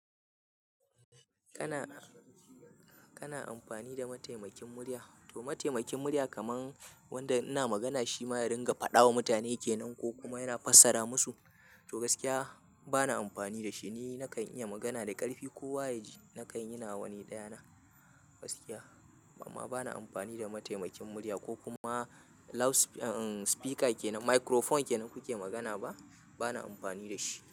Kana, kana amfani da mataimakin murya? To mataimakin murya kaman wanda ina magana shi ma ya ringa faɗa wa mutane ke nan ko kuma yana fassara masu. To gaskiya bana amfani da shi, ni nakan iya magana da ƙarfi kowa ya ji nakan yi nawa ni daya na gaskiya. Amma bana amfani da mataimakin murya ko kuma loudspe-- uh, speaker kenan, microphone kenan kuke magana ba, bana amfani da shi.